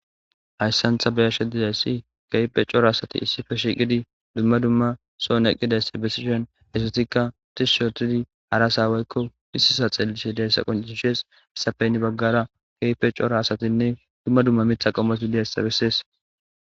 hayssantha beyashe ddidayssi kaype coro asati issife shiqidi dumma dumma soon eqqidaysi bessishon essatikka tishi otidi harasa waykko issisa xeellishe deyssa qoncishees essapeynni baggara kepe coro asatinne dumma dumma mitha qommosiliyaysa bessees